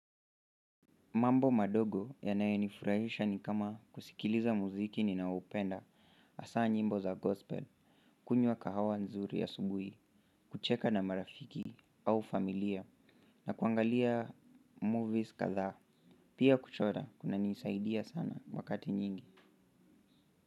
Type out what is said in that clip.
Mambo madogo yanayonifurahisha ni kama kusikiliza muziki ninaoupenda, hasaa nyimbo za gospel, kunywa kahawa nzuri asubuhi, kucheka na marafiki au familia, na kuangalia movies kadhaa, pia kuchora kunanisaidia sana wakati nyingi.